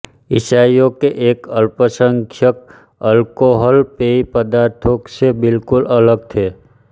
ईसाइयों के एक अल्पसंख्यक अल्कोहल पेय पदार्थों से बिल्कुल अलग थे